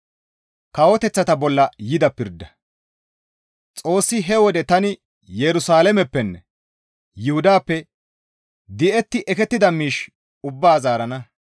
Xoossi, «He wode tani Yerusalaameppenne Yuhudappe di7etti ekettida miish ubbaa zaarana.